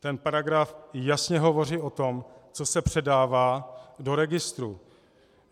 Ten paragraf jasně hovoří o tom, co se předává do registru.